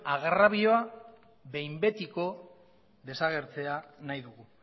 arrabioa behin betiko desagertzea nahi dugu